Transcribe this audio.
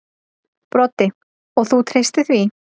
Broddi: Og þú treystir því?